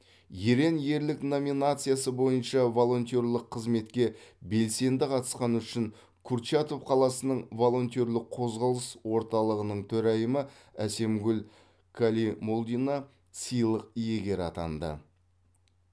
ерен ерлік номинациясы бойынша волонтерлік қызметке белсенді қатысқаны үшін курчатов қаласының волонтерлік қозғалыс орталығының төрайымы әсемгүл калимолдина сыйлық иегері атанды